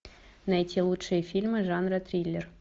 найти лучшие фильмы жанра триллер